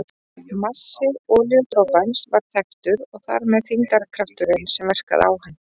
Massi olíudropans var þekktur og þar með þyngdarkrafturinn sem verkaði á hann.